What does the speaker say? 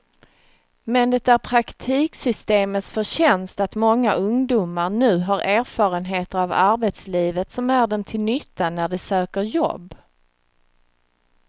Men det är praktiksystemets förtjänst att många ungdomar nu har erfarenheter av arbetslivet som är dem till nytta när de söker jobb.